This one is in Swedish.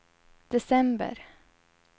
december